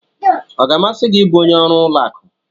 Ọ ga-amasị gị ịbụ onye ọrụ ụlọ akụ?